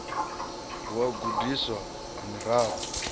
ha u gudiswa ha miraḓo